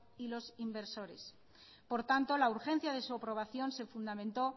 y los inversores por tanto la urgencia de su aprobación se fundamentó